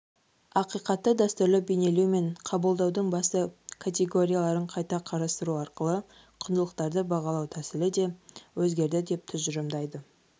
ақиқатты дәстүрлі бейнелеу мен қабылдаудың басты категорияларын қайта қарастыру арқылы құндылықтарды бағалау тәсілі де өзгерді деп тұжырымдайды